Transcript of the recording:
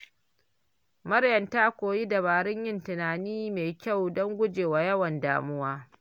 Maryam ta koyi dabarun yin tunani mai kyau don guje wa yawan damuwa.